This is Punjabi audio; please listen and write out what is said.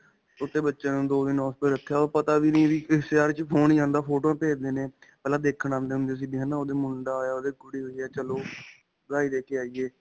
ਛੋਟੇ ਬੱਚਿਆਂ ਨੂੰ ਦੋ ਦਿਨ hospital ਰੱਖਿਆ ਉਹ ਪਤਾ ਵੀ ਕਿਸ ਸ਼ਹਿਰ ਵਿੱਚ phone ਫੋਟੋਵਾਂ ਭਜ ਦਿੰਦੇ ਹਾਂ, ਪਹਿਲਾਂ ਦੇਖਣ ਆਉਂਦੇ ਹੁੰਦੇ ਸੀ ਵੀ ਓਦੇ ਮੁੰਡਾ ਹੋਇਆ, ਓਦੇ ਕੁੜੀ ਹੋਈ ਆ ਚਲੋ ਵਧਾਈ ਦੇ ਕੇ ਆਈਏ .